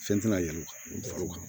Fɛn tɛna yɛlɛma